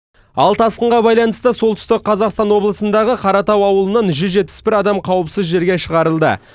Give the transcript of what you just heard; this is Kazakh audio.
ал тасқынға байланысты солтүстік қазақстан облысындағы қаратау ауылынан жүз жетпіс бір адам қауіпсіз жерге шығарылды